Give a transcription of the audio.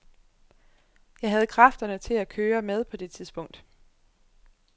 Jeg havde kræfterne til at køre med på det tidspunkt.